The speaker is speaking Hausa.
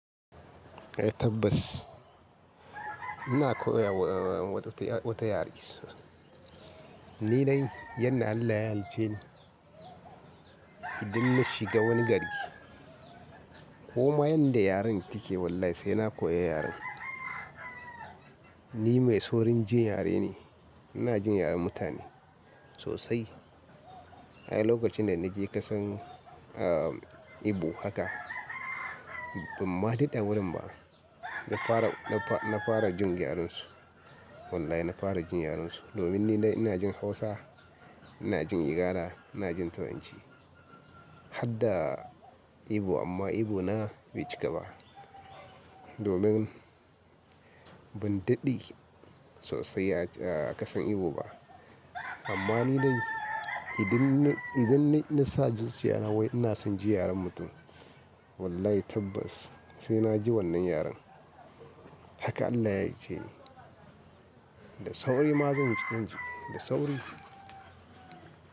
Eh tabbas ina koyawa wata yare. Ni dai yadda Allah ya halicceni idan na shiga wani gari ko ma yanda yaren yake wallahi sai na koyi yaren. Ni mai saurin jin yare ne, ina jin yaren mutane sosai. Ko mai yanda yaren yake wallahi sai na koyi yaren. Ban ma dade a wurin bs na fara jin yarensu. Wallahi na fara jin yarensu. Ni dai ina jin Igala, ina jin Hausa, ina jin Turanci Harda Igbo, ammaigbo na bai cika ba. Domin ban dade sosai a kasar Igbo ba amma ni dai, idan nasa zuciyana wai ina son jin yaren mutum Wallahi tabbas sai na ji wannan yaren. Haka Allah ya halicce ni Da sauri ma zan ji, da sauri.